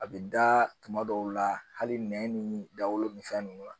A bɛ da tuma dɔw la hali nɛn ni dawolo ni fɛn ninnu na